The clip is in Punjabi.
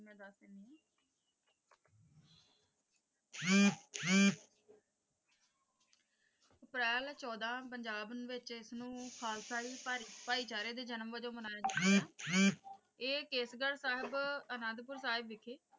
ਅਪ੍ਰੈਲ ਚੌਦਾਂ ਪੰਜਾਬ ਵਿੱਚ ਇਸਨੂੰ ਖਾਲਸਾ ਭਾਈਚਾਰੇ ਦੇ ਜਨਮ ਵਜੋਂ ਮਨਾਇਆ ਜਾਂਦਾ ਹੈ ਇਹ ਕੇਸਗੜ੍ਹ ਸਾਹਿਬ ਆਨੰਦਪੁਰ ਸਾਹਿਬ ਵਿਖੇ,